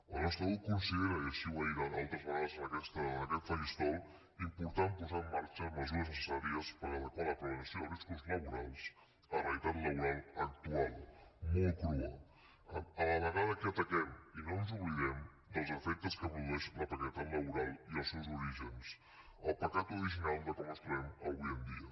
el nostre grup considera i així ho ha dit altres vegades en aquest faristol important posar en marxa mesures necessàries per adequar la prevenció de riscos laborals a la realitat laboral actual molt crua a la vegada que ataquem i no ens n’oblidem dels efectes que produeix la precarietat laboral i els seus orígens el pecat original de com ens trobem avui en dia